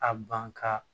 A ban ka